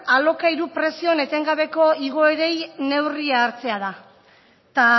da alokairun prezion etengabeko igoerai neurrie hartzea da eta